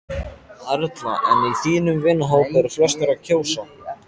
Erla: En í þínum vinahópi, eru flestir að kjósa?